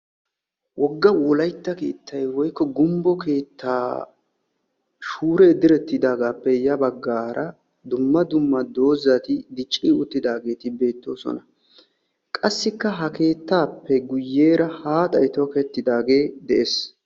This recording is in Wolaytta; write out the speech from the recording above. woga wolaytta keettay woykko gumbbo keetaa shuuree diretidaagappe ya bagaara dumma dumma dozati dicidaageeti beetoosona. qassikka ha keetaappe guye bagaara haaxay tokettidaagee de'ees.